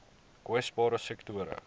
kwesbare sektore